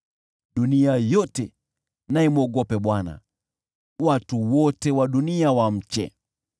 Dunia yote na imwogope Bwana , watu wote wa dunia wamche.